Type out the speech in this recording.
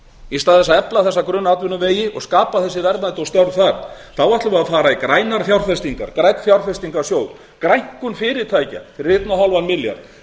í stað þess að efla þessa grunnatvinnuvegi og skapa þessi verðmæti og störf þar þá ætlum við að fara í grænar fjárfestingar grænan fjárfestingarsjóð grænkun fyrirtækja fyrir eins og hálfan milljarð